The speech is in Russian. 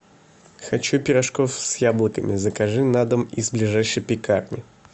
хочу пирожков с яблоками закажи на дом из ближайшей пекарни